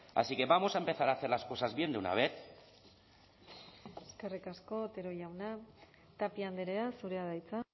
así que vamos a empezar a hacer las cosas bien de una vez eskerrik asko otero jauna tapia andrea zurea da hitza